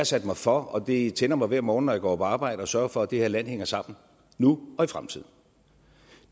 sat mig for og det tænder mig hver morgen når jeg går på arbejde at sørge for at det her land hænger sammen nu og i fremtiden